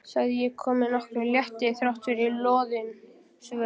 sagði ég með nokkrum létti þráttfyrir loðin svör.